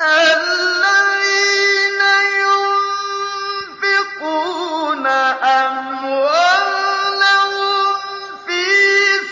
الَّذِينَ يُنفِقُونَ أَمْوَالَهُمْ فِي